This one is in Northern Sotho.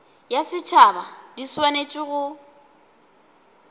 ya setšhaba di swanetše go